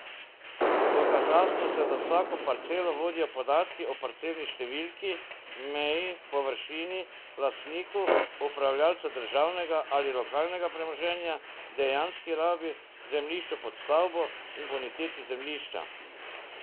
V katastru se za vsako parcelo vodijo podatki o parcelni številki, meji, površini, lastniku, upravljalcu državnega ali lokalnega premoženja, dejanski rabi, zemljišču pod stavbo in boniteti zemljišča.